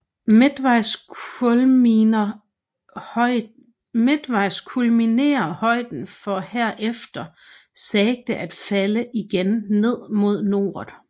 Midtvejs kulminerer højden for herefter sagte at falde igen ned mod Noret